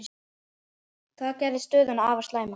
Það geri stöðuna afar slæma.